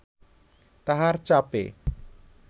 তাহার চাপে